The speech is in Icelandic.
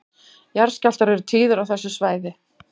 Jarðskjálftar eru tíðir á þessu svæði